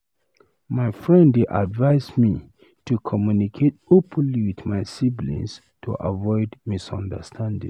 My friend dey advise me to communicate openly with my siblings to avoid misunderstandings.